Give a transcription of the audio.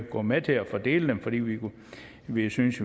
går med til at fordele dem fordi vi jo synes